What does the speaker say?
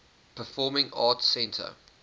performing arts center